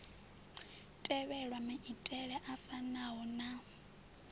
tevhelwa maitele a fanaho na